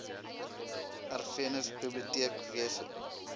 erfenis biblioteek wese